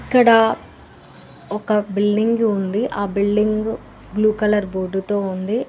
అక్కడ ఒక బిల్డింగు ఉంది ఆ బిల్డింగు బ్లూ కలర్ బోర్డుతో ఉంది.